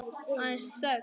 Aðeins þögn.